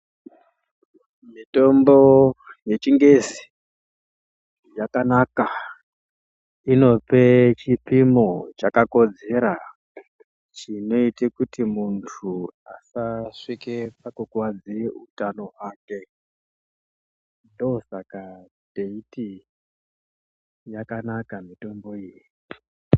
Mitombo yechingezi yakanaka inope chipino chakakodzera chinoita kuti muntu asasvike pakukuwadzike utano hwake ndosaka teiti yakanaka mitombo iyi.